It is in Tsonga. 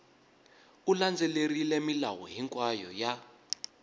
u landzelerile milawu hinkwayo ya